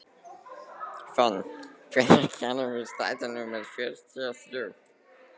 Fönn, hvenær kemur strætó númer fjörutíu og þrjú?